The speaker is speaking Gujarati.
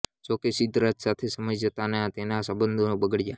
જોકે સિદ્ધરાજ સાથે સમય જતાં તેના સંબંધો બગડ્યાં